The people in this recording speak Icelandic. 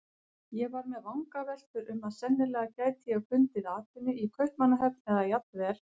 Ég var með vangaveltur um að sennilega gæti ég fundið atvinnu í Kaupmannahöfn eða jafnvel